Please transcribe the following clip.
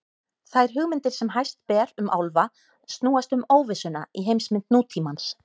Þær hugmyndir sem hæst ber um álfa snúast um óvissuna í heimsmynd nútímans.